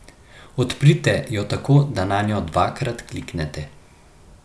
Odprite jo tako, da nanjo dvakrat kliknete.